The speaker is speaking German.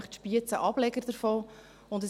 Wir haben in Spiez nämlich einen Ableger.